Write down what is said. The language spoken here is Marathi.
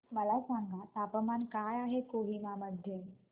मला सांगा तापमान काय आहे कोहिमा मध्ये